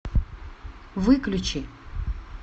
выключи